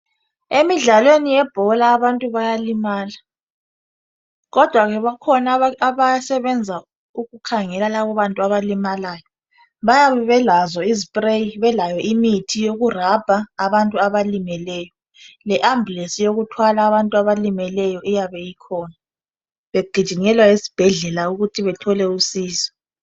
Emidlalweni yebhola abantu bayalimala, kodwa bakhona abasebenza ukukhangela lababantu abalimalayo bayabe belazo izispreyi belayo imithi yokurabha abantu abalimeleyo. Le ambulensi yokuthwala abantu abalimeleyo iyabe ikhona bagijimele esibhedlela ukuthi bathole usizo.